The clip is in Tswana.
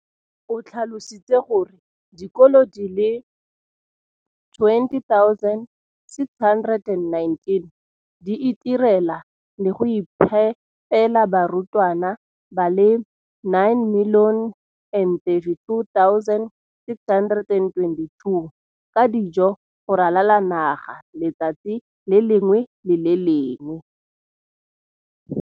o tlhalositse gore dikolo di le 20 619 di itirela le go iphepela barutwana ba le 9 032 622 ka dijo go ralala naga letsatsi le lengwe le le lengwe.